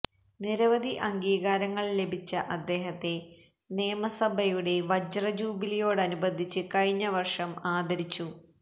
നിരവധി അംഗീകാരങ്ങൾ ലഭിച്ച അദ്ദേഹത്തെ നിയമസഭയുടെ വജ്രജൂലിയോടനുബന്ധിച്ച് കഴിഞ്ഞ വർഷം ആദരിച്ചു